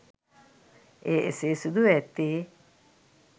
එය එසේ සිදුව ඇත්තේ